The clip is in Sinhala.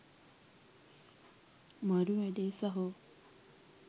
මරු වැඩේ සහෝ.